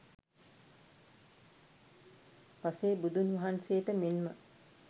පසේ බුදුන් වහන්සේට මෙන්ම